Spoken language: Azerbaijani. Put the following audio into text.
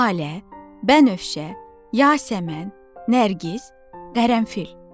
Lalə, Bənövşə, Yasəmən, Nərgiz, Qərənfil.